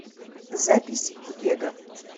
запись вега